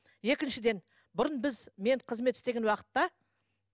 екіншіден бұрын біз мен қызмет істеген уақытта